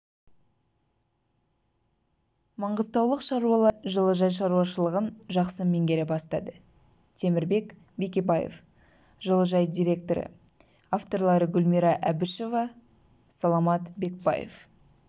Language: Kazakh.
маңғыстаулық шаруалар жылыжай шаруашылығын жақсы меңгере бастады темірбек бекебаев жылыжай директоры авторлары гүлмира әбішева саламат бекбаев